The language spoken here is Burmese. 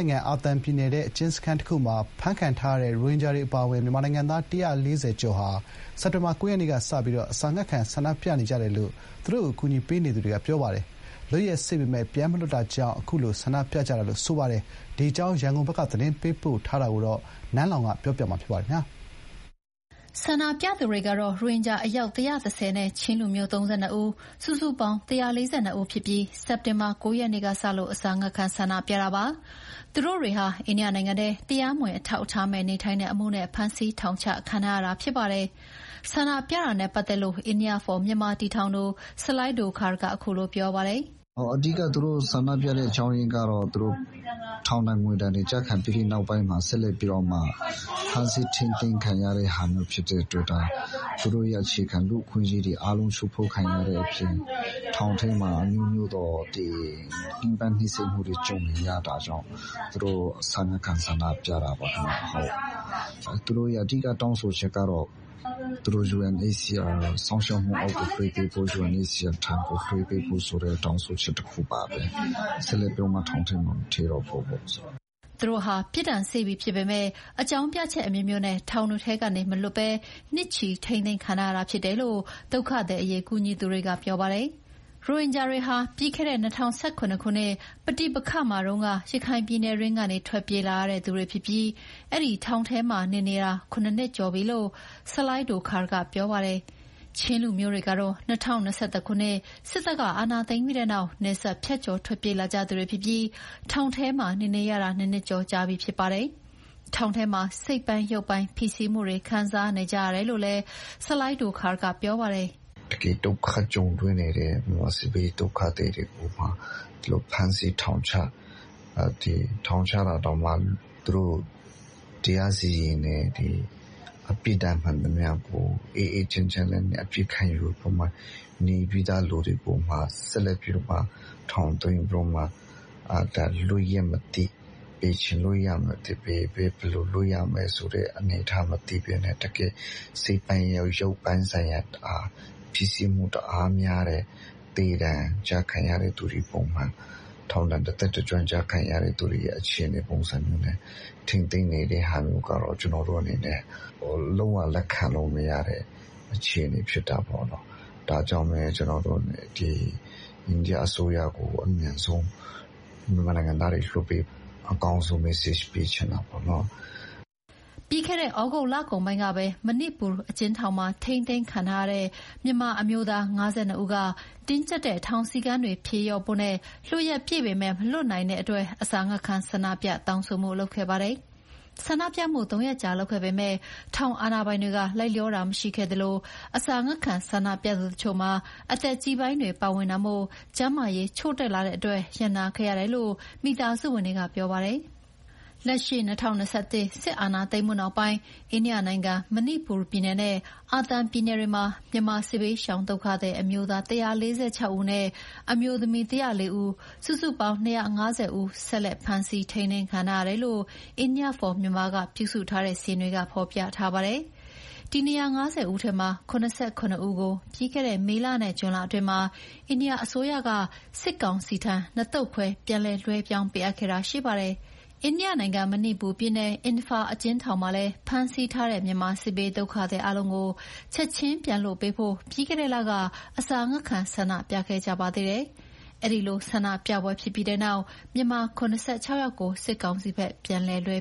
ိုင်ငံ အာသံပြည်နယ်ထဲ အကျဉ်းစခန်းတခုမှာ အဖမ်းခံထားရတဲ့ ရိုဟင်ဂျာအပါအဝင် မြန်မာနိုင်ငံသား ၁၄၀ကျော်ဟာ စက်တင်ဘာလ ၉ ရက်နေ့ကစလို့ အစာငတ်ခံဆန္ဒပြနေကြတယ်လို့ သူတို့ကို အကူအညီပေးနေသူတွေကပြောပါတယ်။ လွတ်ရက်စေ့ပေမယ့် ပြန်မလွှတ်တာ ကြောင့် အခုလို ဆန္ဒပြကြတာလို့ ဆိုပါတယ်။ ဒီအကြောင်း ရန်ကုန်ဘက်က သတင်းပေးပို့ထားတာကို နန်းလောင်ဝ်က တင်ပြပေးထားပါတယ်။ ဆန္ဒပြသူတွေကတော့ ရိုဟင်ဂျာ အယောက် ၁၁၀ နဲ့ ချင်းတိုင်းရင်းသား ၃၂ ဦး၊ စုစုပေါင်း ၁၄၂ ဦးဖြစ်ပြီး စက်တင်ဘာ၉ ရက်နေ့စလို့ အစာငတ်ခံ ဆန္ဒပြတာပါ။ သူတို့တွေဟာ အိန္ဒိယနိုင်ငံထဲ တရားမဝင် အထောက်အထားမဲ့ နေထိုင်မှုနဲ့ဖမ်းဆီးထောင်ချခံထားရတာဖြစ်ပါတယ်။ ဆန္ဒပြတာနဲ့ပတ်သက်လို့ India For Myanmar တည်ထောင်သူ ဆလိုင်းဒိုခါရ်က ခုလိုပြောပြပါတယ်။ “အဓိကသူတို့ဆန္ဒပြတဲ့အကြောင်းအရင်းကတော့ ထောင်ဒဏ် ငွေဒဏ်ကျခံပြီးနောက်ပိုင်း ဖမ်းဆီးထိန်းသိမ်းတဲ့အတွက် သူတို့ရဲ့ အခြေခံ လူ့အခွင့်အရေးတွေ ချိုးဖောက်ခံနေရတာဖြစ်တယ်။ နောက် ထောင်ထဲမှာ အမျိုးမျိုးသောညှင်းပန်းနှိပ်စက်တာတွေ ကြုံနေရတာ။ ဒါတွေကြောင့် အစာငတ်ခံဆန္ဒပြရတာဖြစ်ပါတယ်။ သူတို့ရဲ့အဓိကတောင်းဆိုချက်ကတော့ UNHCR စောင့်ရှောက်မှုအောက် ထားပေးဖို့၊ တွေ့ပေးဖို့နဲ့ ဆက်လက်ပြီး ထောင်ထဲမှာမထည့်တော့ဖို့ဖြစ်ပါတယ်။” သူတို့ဟာ ပြစ်ဒဏ်စေ့ပြီဖြစ်ပေမဲ့ အကြောင်းပြချက်အမျိုးမျိုးနဲ့ ထောင်တွေထဲကနေမလွတ်ဘဲ နှစ်ချီထိန်းသိမ်းခံထားရတာဖြစ်တယ်လို့ ဒုက္ခသည်အရေး ကူညီသူတွေကပြောပါတယ်။ ရိုဟင်ဂျာတွေဟာ ပြီးခဲ့တဲ့ ၂ဝ၁၇ ခုနှစ်က ပဋိပက္ခမှာတုန်းက ရခိုင်ပြည်နယ်တွင်းကနေ ထွက်ပြေးလာရတဲ့သူတွေဖြစ်ပြီး အဲဒီထောင်ထဲမှာ နေနေရတာ ခုနှစ်ကျော်နေပြီလို့ဆလိုင်းဒိုခါရ်က ပြောပါတယ်။ ချင်းတိုင်းရင်းသားတွေကတော့ ၂ဝ၂၁ ခုနှစ် စစ်တပ်အာဏာသိမ်းပြီးနောက် နယ်စပ်ဖြတ်ကျော် ထွက်ပြေးလာကြသူတွေဖြစ်ပြီး ထောင်ထဲမှာနေနေရတာ နှစ်နှစ်ကျော်ကြာနေပြီဖြစ်ပါတယ်။ ထောင်ထဲမှာစိတ်ပိုင်းရုပ်ပိုင်း ဖိစီးမှုတွေခံစားနေကြရတယ်လို့လည်း ဆလိုင်း ဒိုခါရ်က ပြောပါတယ်။ “တကယ် ဒုက္ခကြုံတွေ့နေရတဲ့မြန်မာစစ်ဘေးဒုက္ခသည်တွေကိုမှ ဖမ်းဆီးထောင်ချဖမ်းဆီးတာတောင်မှ သူတို့ တရားစီရင်တယ်။ ပြစ်ဒဏ် မှန်သမျှကို အေးအေးချမ်းချမ်းနဲ့ခံယူပြီးသားသူတွေကိုမှ ထောင်သွင်းပြီး လွတ်ရက်မသိ၊ဘယ်အချိန်လွတ်ရမယ်၊ ဘယ်နေရာမှာလွတ်ရ မယ်ဆိုတာ မသိတဲ့အနေအထားနဲ့ စိတ်ပိုင်းကောရုပ်ပိုင်းကော တအားဖိစီးမှုများတယ်။ သေဒဏ်နဲ့ထောင်ဒဏ်တသက် ကျခံရတဲ့ပုံစံအခြေ အနေမျိုးနဲ့ ထိန်းသိမ်းနေတာကတော့ ကျနော်တို့အနေနဲ့ ဘယ်လိုမှလက်ခံနိုင်စရာမရှိဘူး။ ဒါကြောင့် အိန္ဒိယအစိုးရအနေနဲ့ မြန်မာနိုင်ငံသား တွေကို အမြန်ဆုံးလွှတ်ပေးဖို့ အကောင်းဆုံး message ပေးချင်တာပါ။” ပြီးခဲ့တဲ့ သြဂုတ်လကုန်ပိုင်းကလည်း မဏိပူရ်အကျဥ်းထောင်မှာ ထိန်းသိမ်းခံထားရတဲ့ မြန်မာအမျိုးသား ၅၂ ဦးကတင်းကြပ်တဲ့ ထောင်စည်းကမ်းတွေ ဖြေလျော့ဖို့နဲ့ လွတ်ရက်ပြည့်ပေမယ့် မလွတ်နိုင်တဲ့အတွက် အစာငတ်ခံဆန္ဒပြတောင်းဆိုခဲ့ပါတယ်။ ၃ ရက်ကြာ ဆန္ဒပြခဲ့ပေမယ့် ထောင်အာဏာပိုင်တွေကမလိုက်လျောခဲ့သလို အစာငတ်ခံဆန္ဒပြသူတချို့ မှာ အသက်ကြီးပိုင်းတွေပါတာမို့ ကျန်းမာရေးချို့တဲ့လာတဲ့အတွက် ရပ်နားခဲ့ရတယ်လို့ မိသားစုဝင်တွေကပြောပါတယ်။ လက်ရှိ ၂၀၂၁ စစ်အာဏာသိမ်းမှုနောက်ပိုင်း အိန္ဒိယနိုင်ငံ၊ မဏိပူရ်ပြည်နယ်နဲ့ အာသံပြည်နယ်တွေမှာ မြန်မာစစ်ဘေးရှောင် ဒုက္ခသည် အမျိုးသား ၁၄၆ ဦးနဲ့ အမျိုးသမီး ၁၀၄ ဦး၊ စုစုပေါင်းအယောက် ၂၅၀ ဆက်လက်ဖမ်းဆီးထိန်းသိမ်းခံထားရတယ်လို့ India For Myanmar က ပြုစုထားတဲ့စာရင်းတွေကဖော်ပြထားပါတယ်။ ဒီ ၂၅၀ ဦးထဲက ၇၇ ဦးကို ပြီးခဲ့တဲ့ မေလနဲ့ဇွန်လအတွင်းမှာ အိန္ဒိယအစိုးရက စစ်ကောင်စီထံ နှစ်သုတ်ခွဲ ပြန်လွှဲပြောင်းပေးအပ်ခဲ့တာရှိပါတယ်။ အိန္ဒိယနိုင်ငံ မဏိပူရ်ပြည်နယ် အင်ဖာအကျဉ်းထောင်မှာလည်း ဖမ်းဆီးထားတဲ့ မြန်မာစစ်ဘေးဒုက္ခသည်အားလုံးကိုချက်ချင်းပြန်လွှတ်ပေးဖို့ ပြီးခဲ့တဲ့လက အစာငတ်ခံ ဆန္ဒပြခဲ့ကြပါသေးတယ်။ အဲဒီလို ဆန္ဒပြပွဲဖြစ်ပြီးနောက် မြန်မာ ၇၆ယောက်ကို စစ်ကောင်စီဘက် ပြန်လွှဲ